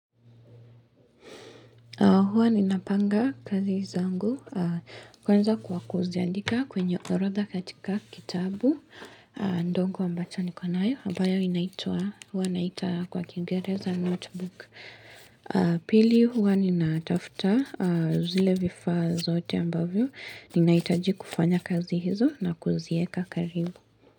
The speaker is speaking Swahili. Huwa ninapanga kazi zangu, kwanza kwa kuziandika kwenye orodha katika kitabu, ndongo ambacho niko nayo, ambayo inaitwa, huwa naita kwa kingereza notebook. Pili huwa ninatafta, zile vifaa zote ambavyo, ninahitaji kufanya kazi hizo na kuzieka karibu.